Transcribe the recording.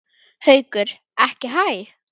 Haukur: Ekki hæ?